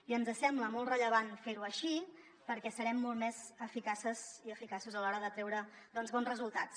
i ens sembla molt rellevant fer ho així perquè serem molt més eficaces i eficaços a l’hora de treure doncs bons resultats